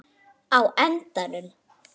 á endanum